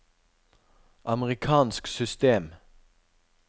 amerikansk system